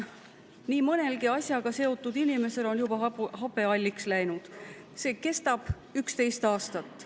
Nii mõnelgi asjaga seotud inimesel on juba habe halliks läinud, see kestab 11 aastat.